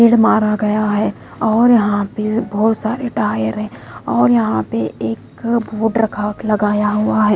फिर मारा गया है और यहां पे बहुत सारे टायर है और यहां पे एक वोट रखा लगाया हुआ है।